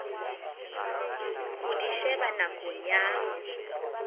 ho di sheba nakong ya